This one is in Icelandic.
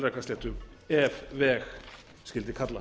melrakkasléttu ef veg skyldi kalla